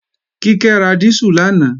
Kíkẹ́ ra dísù lánàá